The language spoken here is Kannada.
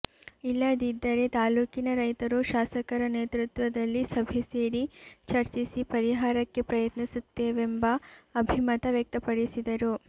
ಇಲ್ಲದಿದ್ದರೆ ತಾಲೂಕಿನ ರೈತರು ಶಾಸಕರ ನೇತೃತ್ವದಲ್ಲಿ ಸಭೆ ಸೇರಿ ಚರ್ಚಿಸಿ ಪರಿಹಾರಕ್ಕೆ ಪ್ರಯತ್ನಿಸುತ್ತೇವೆಂಬ ಅಭಿಮತ ವ್ಯಕ್ತಪಡಿಸಿದರು